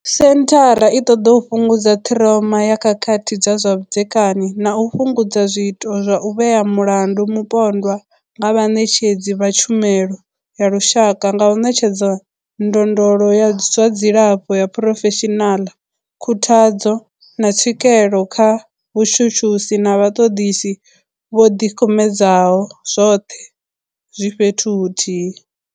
Senthara i ṱoḓa u fhungudza ṱhiroma ya khakhathi dza zwa vhudzekani na u fhungudza zwiito zwa u vhea mulandu mupondwa nga vhaṋetshedzi vha tshumelo ya lushaka nga u ṋetshedza ndondolo ya zwa dzilafho ya phurofeshinala, khuthadzo, na tswikelo kha vhatshutshisi na vhaṱoḓisi vho ḓikumedzaho, zwoṱhe zwi fhethu huthihi.